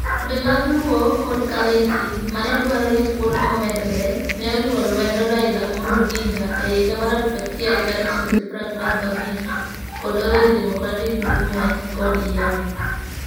Grube mag Luo kod Kalenjin ma ne dwaro ni thuolo momedore, ne oriwo lwedo Raila Amolo Odinga e higa 1945 kod Orange Democratic Movement (ODM).